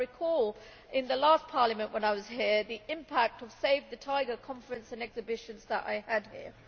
and I recall in the last Parliament, when I was here, the impact of the save the tiger conference and exhibitions which I held here.